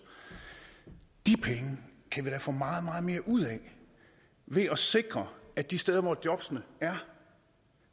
de penge kan vi da få meget meget mere ud af ved at sikre at de steder hvor jobbene er